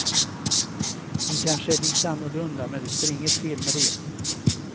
Hon kanske är lite annorlunda men det är inget fel med det.